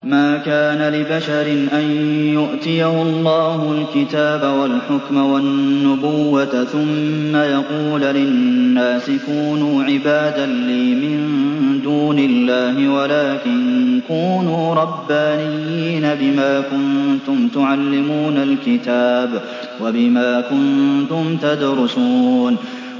مَا كَانَ لِبَشَرٍ أَن يُؤْتِيَهُ اللَّهُ الْكِتَابَ وَالْحُكْمَ وَالنُّبُوَّةَ ثُمَّ يَقُولَ لِلنَّاسِ كُونُوا عِبَادًا لِّي مِن دُونِ اللَّهِ وَلَٰكِن كُونُوا رَبَّانِيِّينَ بِمَا كُنتُمْ تُعَلِّمُونَ الْكِتَابَ وَبِمَا كُنتُمْ تَدْرُسُونَ